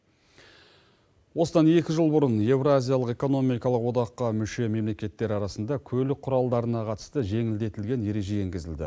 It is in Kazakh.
осыдан екі жыл бұрын евразциялық экономикалық одаққа мүше мемлекеттер арасында көлік құралдарына қатысты жеңілдетілген ереже енгізілді